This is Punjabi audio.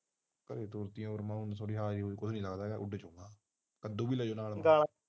ਕੱਦੂ ਵੀ ਲੈਜੋ ਨਾਲ